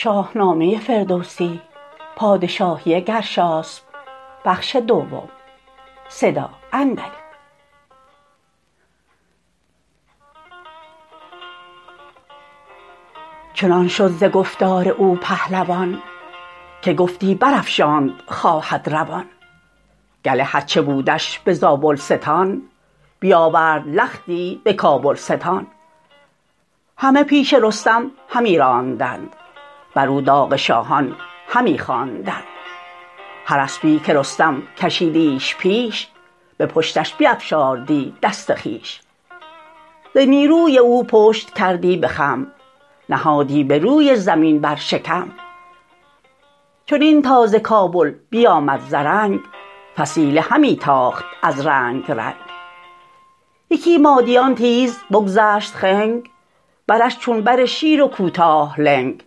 چنان شد ز گفتار او پهلوان که گفتی برافشاند خواهد روان گله هرچ بودش به زابلستان بیاورد لختی به کابلستان همه پیش رستم همی راندند برو داغ شاهان همی خواندند هر اسپی که رستم کشیدیش پیش به پشتش بیفشاردی دست خویش ز نیروی او پشت کردی به خم نهادی به روی زمین بر شکم چنین تا ز کابل بیامد زرنگ فسیله همی تاخت از رنگ رنگ یکی مادیان تیز بگذشت خنگ برش چون بر شیر و کوتاه لنگ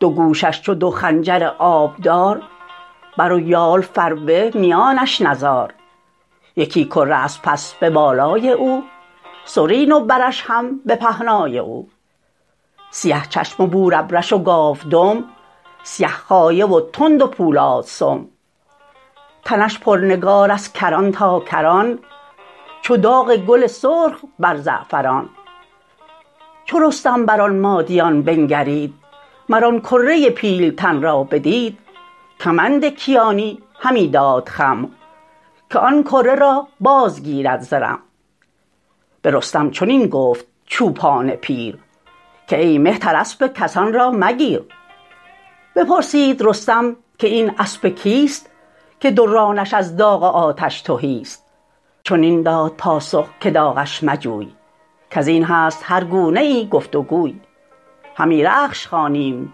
دو گوشش چو دو خنجر آبدار بر و یال فربه میانش نزار یکی کره از پس به بالای او سرین و برش هم به پهنای او سیه چشم و بورابرش و گاودم سیه خایه و تند و پولادسم تنش پرنگار از کران تا کران چو داغ گل سرخ بر زعفران چو رستم بران مادیان بنگرید مر آن کره پیلتن را بدید کمند کیانی همی داد خم که آن کره را بازگیرد ز رم به رستم چنین گفت چوپان پیر که ای مهتر اسپ کسان را مگیر بپرسید رستم که این اسپ کیست که دو رانش از داغ آتش تهیست چنین داد پاسخ که داغش مجوی کزین هست هر گونه ای گفت وگوی همی رخش خوانیم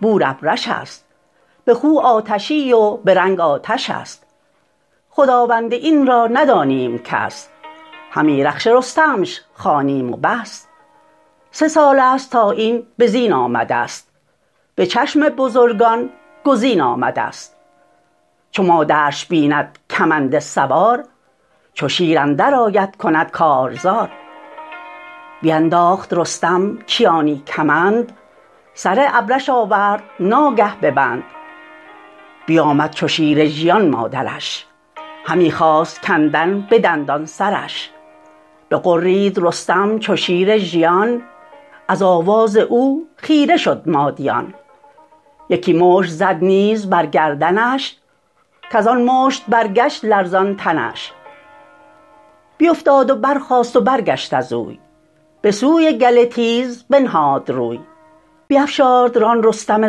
بورابرش است به خو آتشی و به رنگ آتش است خداوند این را ندانیم کس همی رخش رستمش خوانیم و بس سه سالست تا این بزین آمدست به چشم بزرگان گزین آمدست چو مادرش بیند کمند سوار چو شیر اندرآید کند کارزار بینداخت رستم کیانی کمند سر ابرش آورد ناگه ببند بیامد چو شیر ژیان مادرش همی خواست کندن به دندان سرش بغرید رستم چو شیر ژیان از آواز او خیره شد مادیان یکی مشت زد نیز بر گردنش کزان مشت برگشت لرزان تنش بیفتاد و برخاست و برگشت از وی بسوی گله تیز بنهاد روی بیفشارد ران رستم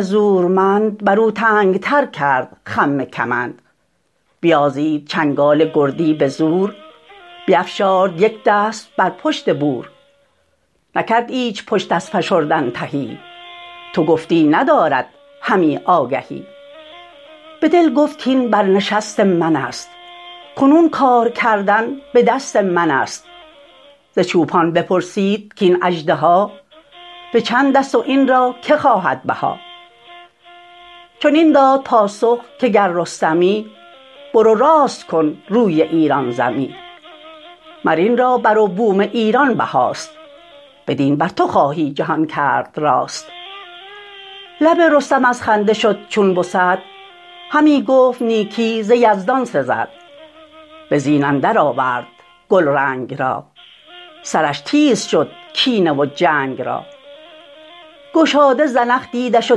زورمند برو تنگتر کرد خم کمند بیازید چنگال گردی بزور بیفشارد یک دست بر پشت بور نکرد ایچ پشت از فشردن تهی تو گفتی ندارد همی آگهی بدل گفت کاین برنشست منست کنون کار کردن به دست منست ز چوپان بپرسید کاین اژدها به چندست و این را که خواهد بها چنین داد پاسخ که گر رستمی برو راست کن روی ایران زمی مر این را بر و بوم ایران بهاست بدین بر تو خواهی جهان کرد راست لب رستم از خنده شد چون بسد همی گفت نیکی ز یزدان سزد به زین اندر آورد گلرنگ را سرش تیز شد کینه و جنگ را گشاده زنخ دیدش و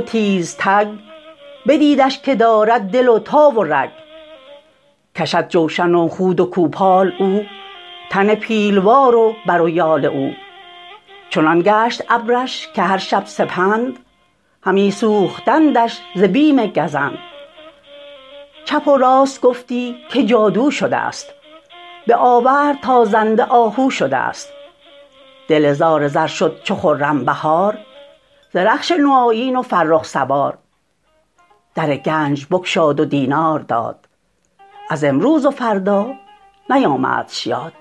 تیزتگ بدیدش که دارد دل و تاو و رگ کشد جوشن و خود و کوپال او تن پیلوار و بر و یال او چنان گشت ابرش که هر شب سپند همی سوختندش ز بیم گزند چپ و راست گفتی که جادو شدست به آورد تا زنده آهو شدست دل زال زر شد چو خرم بهار ز رخش نوآیین و فرخ سوار در گنج بگشاد و دینار داد از امروز و فردا نیامدش یاد